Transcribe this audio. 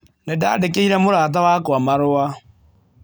Nĩ ndandĩkĩire mũrata wakwa marũa.